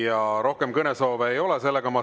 Ja rohkem kõnesoove ei ole.